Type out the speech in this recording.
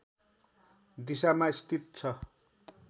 दिशामा स्थित छ